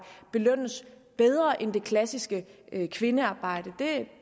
belønnes bedre end det klassiske kvindearbejde